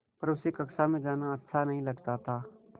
पर उसे कक्षा में जाना अच्छा नहीं लगता था